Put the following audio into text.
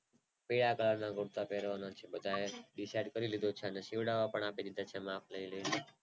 પીળા કલર ના કૂર્તા પેરવાના છીએ બધા એ Decide કરી લીધું છે સીવડાવા પણ આપી દીધા છે માપ લય લય ને